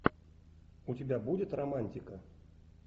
у тебя будет романтика